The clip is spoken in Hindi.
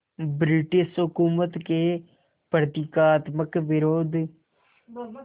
ब्रिटिश हुकूमत के प्रतीकात्मक विरोध